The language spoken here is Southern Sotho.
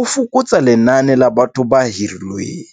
o fokotsa lenane la batho ba hirilweng.